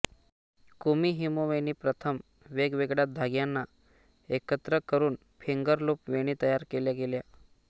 kumihimo वेणी प्रथम वेगवेगळ्या धाग्यांना एकत्र करून फिंगरलूप वेणी तयार केल्या गेल्या